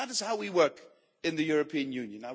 That is how we work in the European Union.